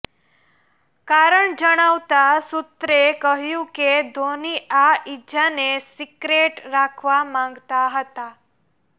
કારણ જણાવતા સૂત્રે કહ્યું કે ધોની આ ઇજાને સિક્રેટ રાખવા માંગતા હતા